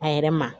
A yɛrɛ ma